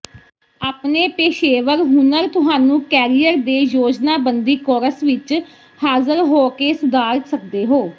ਆਪਣੇ ਪੇਸ਼ੇਵਰ ਹੁਨਰ ਤੁਹਾਨੂੰ ਕੈਰੀਅਰ ਦੇ ਯੋਜਨਾਬੰਦੀ ਕੋਰਸ ਵਿਚ ਹਾਜ਼ਰ ਹੋ ਕੇ ਸੁਧਾਰ ਸਕਦੇ ਹੋ